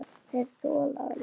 Þeir þola hann ekki.